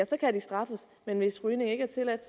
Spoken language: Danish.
så kan de straffes men hvis rygning ikke er tilladt